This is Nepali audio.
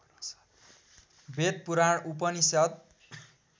वेद पुराण उपनिषद्